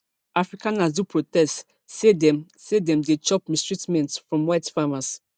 afrikaners do protests say dem say dem dey chop mistreatments from white farmers